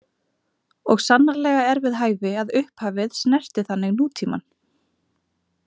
Og sannarlega er við hæfi, að upphafið snerti þannig nútímann.